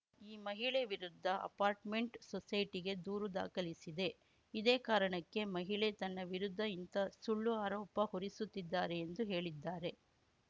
ಈ ಮಹಿಳೆ ವಿರುದ್ಧ ಅಪಾರ್ಟ್‌ಮೆಂಟ್‌ ಸೊಸೈಟಿಗೆ ದೂರು ದಾಖಲಿಸಿದ್ದೆ ಇದೇ ಕಾರಣಕ್ಕೆ ಮಹಿಳೆ ತನ್ನ ವಿರುದ್ಧ ಇಂಥ ಸುಳ್ಳು ಆರೋಪ ಹೊರಿಸುತ್ತಿದ್ದಾರೆ ಎಂದು ಹೇಳಿದ್ದಾರೆ